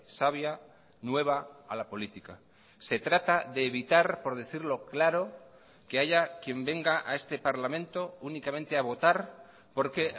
savia nueva a la política se trata de evitar por decirlo claro que haya quien venga a este parlamento únicamente a votar porque